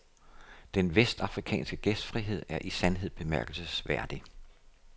Den vestafrikanske gæstfrihed er i sandhed bemærkelsesværdig.